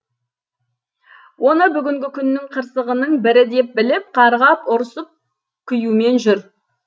оны бүгінгі күннің қырсығының бірі деп біліп қарғап ұрсып күюмен жүр